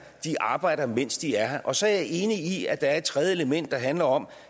arbejder mens de er her og så er jeg enig i at der er et tredje element der handler om